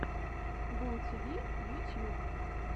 бумтиви ютьюб